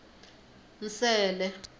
nsele